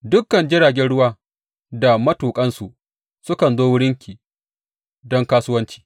Dukan jiragen ruwa da matuƙansu sukan zo wurinki don kasuwanci.